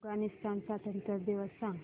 अफगाणिस्तान स्वातंत्र्य दिवस सांगा